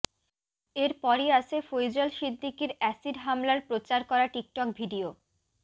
এরপরই আসে ফৈজল সিদ্দিকির অ্যাসিড হামলার প্রচার করা টিকটক ভিডিও